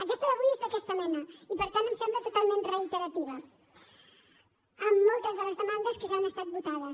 aquesta d’avui és d’aquesta mena i per tant em sembla totalment reiterativa en moltes de les demandes que ja han estat votades